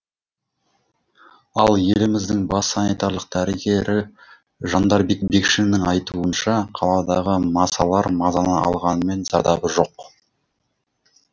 ал еліміздің бас санитарлық дәрігері жандарбек бекшиннің айтуынша қаладағы масалар мазаны алғанымен зардабы жоқ